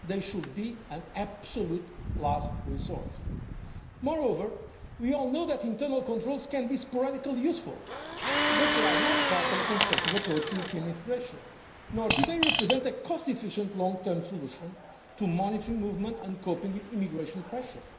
later. They should be an absolute last resort. Moreover, we all know that internal controls can be sporadically useful but they are not part of a constructive approach to European integration, nor do they represent a cost efficient long term solution to monitoring movement and coping with immigration pressure.